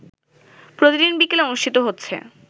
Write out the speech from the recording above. প্রতিদিন বিকেলে অনুষ্ঠিত হচ্ছে